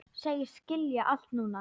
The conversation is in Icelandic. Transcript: Segist skilja allt núna.